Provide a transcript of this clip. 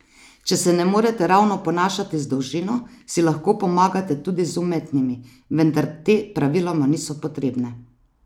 Če se ne morete ravno ponašati z dolžino, si lahko pomagate tudi z umetnimi, vendar te praviloma niso potrebne.